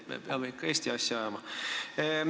Me peame ikka Eesti asja ajama.